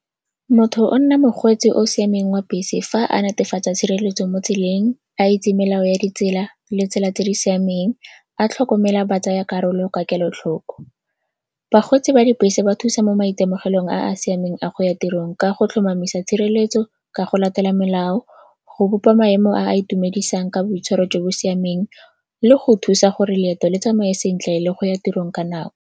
Motho o nna mokgweetsi o o siameng wa bese fa a netefatsa tshireletso mo tseleng, a itse melao ya ditsela le tsela tse di siameng, a tlhokomela batsayakarolo ka kelotlhoko. Bakgweetsi ba dibese ba thusa mo maitemogelong a a siameng a go ya tirong ka go tlhomamisa tshireletso ka go latela melao, go bopa maemo a a itumedisang ka boitshwaro jo bo siameng le go thusa gore leeto le tsamae sentle le go ya tirong ka nako.